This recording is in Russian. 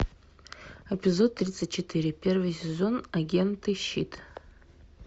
эпизод тридцать четыре первый сезон агенты щит